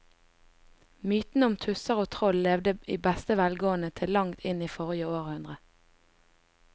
Mytene om tusser og troll levde i beste velgående til langt inn i forrige århundre.